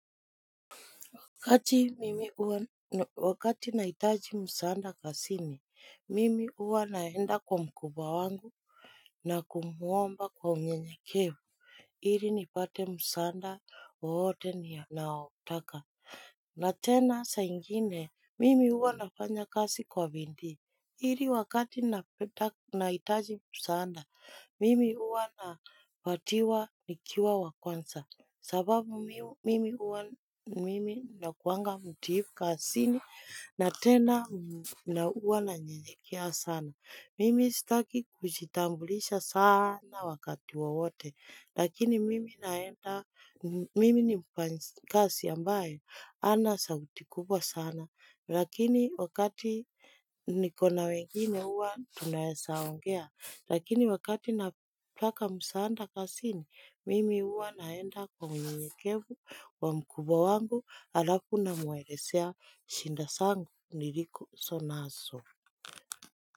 Kati mimi huwa wakati naitaji msaanda kasini, mimi huwa naenda kwa mkubwa wangu na kumuomba kwa unyenyekevu, iri ni pate msaanda wote ninaotaka. Na tena sa ingine, mimi huwa nafanya kasi kwa bindii, iri wakati naitaji msaanda, mimi huwa napatiwa nikiwa wa kwansa. Sababu mimi huwa mimi nakuanga mtiifu kasini na tena na huwa na nyenyekea sana. Mimi sitaki kujitambulisha sana wakati wowote. Lakini mimi naenda mimi ni mfanyikasi ambaye ana sauti kupwa sana. Lakini wakati niko na wengine huwa tunaesa ongea. Lakini wakati napotaka msaanda kasini, mimi huwa naenda kwa unyenyekevu wa mkubwa wangu alafu namwelesea shinda sangu niliku sonaso.